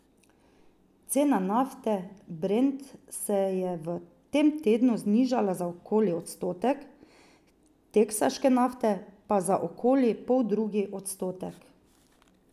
Cena nafte brent se je v tem tednu znižala za okoli odstotek, teksaške nafte pa za okoli poldrugi odstotek.